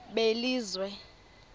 belizwe